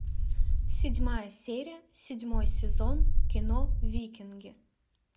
седьмая серия седьмой сезон кино викинги